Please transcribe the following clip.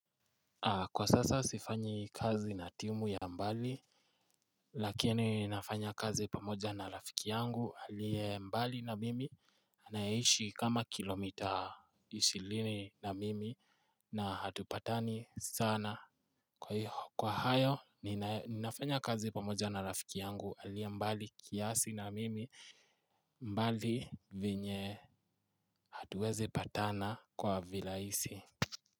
Kwa sasa sifanyi kazi na timu ya mbali Lakini ninafanya kazi pamoja na rafiki yangu alie mbali na mimi anaishi kama kilomita Ishilini na mimi na hatupatani sana Kwa iho kwa hayo ninafanya kazi pamoja na rafiki yangu alie mbali kiasi na mimi mbali venye hatuwezi patana kwa vilaisi.